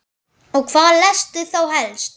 Og hvað lestu þá helst?